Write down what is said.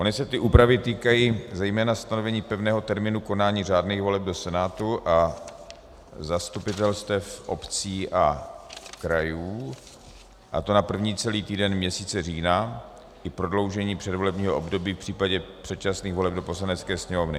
Ony se ty úpravy týkají zejména stanovení pevného termínu konání řádných voleb do Senátu a zastupitelstev obcí a krajů, a to na první celý týden měsíce října i prodloužení předvolebního období v případě předčasných voleb do Poslanecké sněmovny.